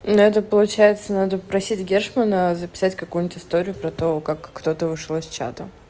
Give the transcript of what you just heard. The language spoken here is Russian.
надо получается надо просить гешмана записать какую-нибудь историю про того как кто-то вышел из чата